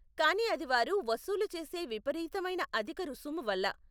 కానీ అది వారు వసూలు చేసే విపరీతమైన అధిక రుసుము వల్ల.